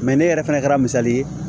ne yɛrɛ fɛnɛ kɛra misali ye